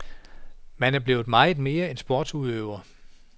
Man er blevet meget mere end sportsudøver.